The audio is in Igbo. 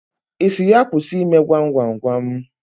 Ị sị ya kwụsị ime gwam gwam gwam?